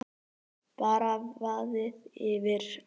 Bara vaðið yfir.